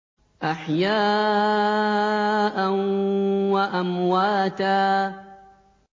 أَحْيَاءً وَأَمْوَاتًا